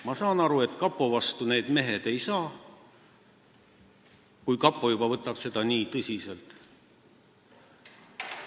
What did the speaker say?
Ma saan aru, et kapo vastu need mehed ei saa, kui kapo seda juba nii tõsiselt võtab.